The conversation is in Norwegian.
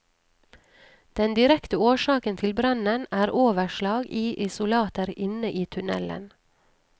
Den direkte årsaken til brannen er overslag i isolater inne i tunnelen.